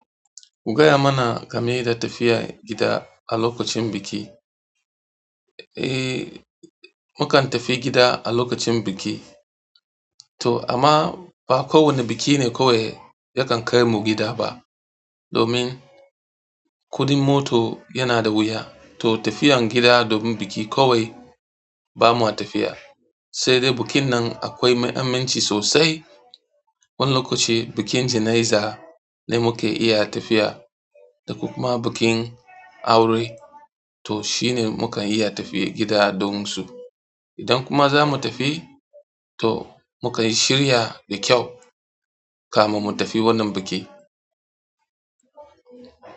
Gaya mana game da tafiya gida a lokacin biki. Eh, mu kan tafi gida a lokacin biki. To amma ba kowane biki ne kawai yakan kai mu gida ba. Domin kuɗin mota yana da wuya. To tafiyan gida domin biki kawai ba ma tafiya. Sai dai bikin nan akwai mahimmanci sosai. Wani lokaci bikin jana'iza ne muka iya tafiya da kuma bikin aure. To shi ne muka iya tafiya gida domin su. Idan kuma za mu tafi, to mukan shirya da kyau kafin mu tafi wannan biki.